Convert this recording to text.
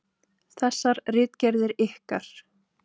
Þessar ritgerðir ykkar!